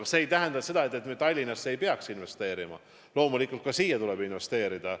Ent see ei tähenda seda, et me Tallinnasse ei peaks investeerima, loomulikult ka siia tuleb investeerida.